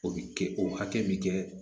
O bi kɛ o hakɛ min kɛ